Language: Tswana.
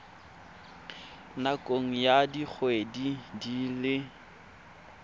nakong ya dikgwedi di le